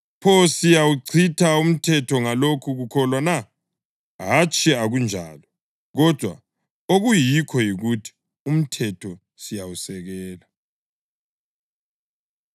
Pho, siyawuchitha umthetho ngalokhu kukholwa na? Hatshi, akunjalo! Kodwa, okuyikho yikuthi umthetho siyawusekela.